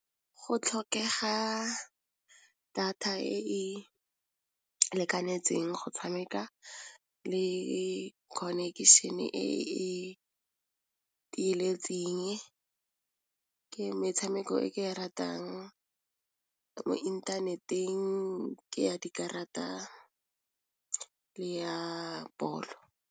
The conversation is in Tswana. Go tlhokega data e e lekanetseng go tshameka le connection-e e le tieletseng, ke metshameko e ke e ratang mo inthaneteng ke ya dikarata le ya bolo.